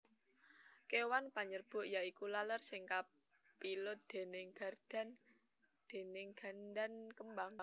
Kéwan panyerbuk ya iku laler sing kapilut déning gandan kembang